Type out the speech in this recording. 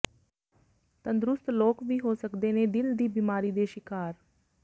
ਤੰਦਰੁਸਤ ਲੋਕ ਵੀ ਹੋ ਸਕਦੇ ਨੇ ਦਿਲ ਦੀ ਬਿਮਾਰੀ ਦੇ ਸ਼ਿਕਾਰ